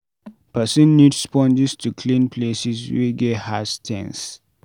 person need sponges to clean places wey get hard stains